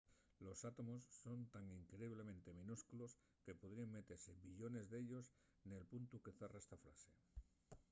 los átomos son tan increíblemente minúsculos que podríen metese billones d’ellos nel puntu que zarra esta frase